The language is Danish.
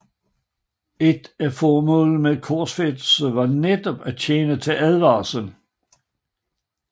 Et af formålene med korsfæstelse var netop at tjene til advarsel